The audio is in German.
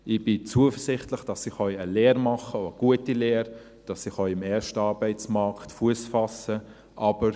Ich bin zuversichtlich, dass sie eine Lehre machen können, eine gute Lehre, dass sie im ersten Arbeitsmarkt Fuss fassen können.